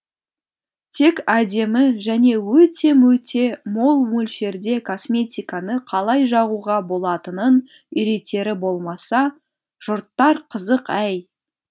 тек әдемі және өте мөте мол мөлшерде косметиканы қалай жағуға болатынын үйретері болмаса жұрттар қызық әй